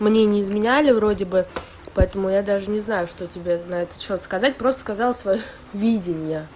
мне не изменяли вроде бы поэтому я даже не знаю что тебе на этот счёт сказать просто сказала своё видение